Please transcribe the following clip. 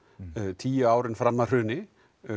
tíu ár fram að hruni